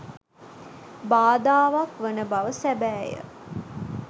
බාධාවක් වන බව සැබෑය.